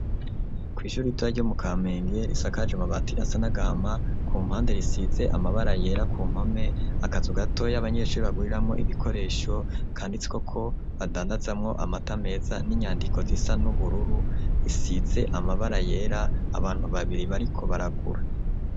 Kw’ishure ritoya ryo mu Kamenge, risakaje amabati asa n'agahama, ku mpande risize amabara yera ku mpome, akazu gatoya abanyeshuri baguriramwo ibikoresho kanditseko ko badandazamwo amata meza, n'inyandiko zisa n'ubururu isize amabara yera, abantu babiri bariko baragura.